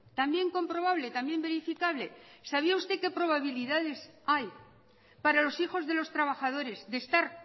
también comprobable también verificable sabía usted qué probabilidades hay para los hijos de los trabajadores de estar